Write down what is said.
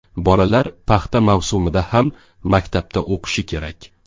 Bolalar paxta mavsumida ham maktabda o‘qishi kerak.